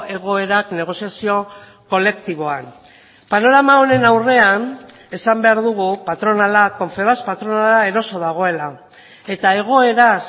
egoerak negoziazio kolektiboan panorama honen aurrean esan behar dugu patronala confebask patronala eroso dagoela eta egoeraz